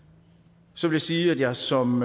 så vil jeg sige at jeg som